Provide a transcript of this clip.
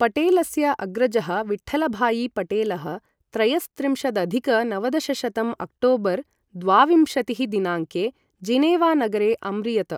पटेलस्य अग्रजः विठ्ठलभायि पटेलः, त्रयस्त्रिंशदधिक नवदशशतं अक्टोबर् द्वाविंशतिः दिनाङ्के जिनेवा नगरे अम्रियत।